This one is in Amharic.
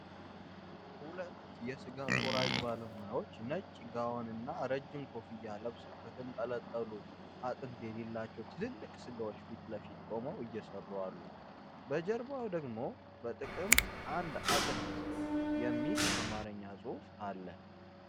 ሁለት የሥጋ ቆራጭ ባለሙያዎች ነጭ ጋወንና ረጅም ኮፍያ ለብሰው ከተንጠለጠሉ አጥንት የሌላቸው ትልልቅ ስጋዎች ፊት ለፊት ቆመው እየሰሩ አሉ፤ በጀርባው ደግሞ “በጥቀምት አንድ አጥንት” የሚል የአማርኛ ጽሑፍ አለ።